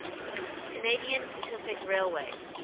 canadian pacific railway